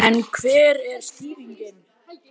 En hver er skýringin?